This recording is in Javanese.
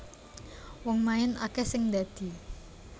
Wong main akeh sing ndadi